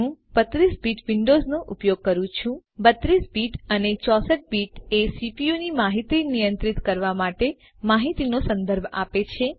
હું 32 bit Windows નો ઉપયોગ કરું છું 32 બીટ અને 64 બીટ એ CPUની માહિતી નિયંત્રિત કરવાની માહિતીનો સંદર્ભ આપે છે